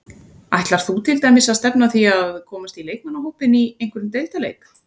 Ætlar þú til dæmis að stefna að því að komast í leikmannahópinn í einhverjum deildarleik?